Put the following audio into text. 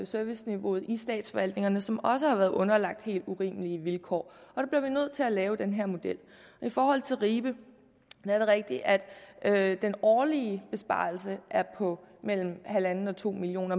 serviceniveauet i statsforvaltningerne som også har været underlagt helt urimelige vilkår og vi nødt til at lave den her model i forhold til ribe er det rigtigt at at den årlige besparelse er på mellem en og to million